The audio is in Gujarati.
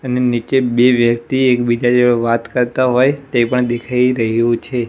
એની નીચે બે વ્યક્તિ એક બીજા જોડે વાત કરતા હોઈ તે પણ દેખાય રહ્યુ છે.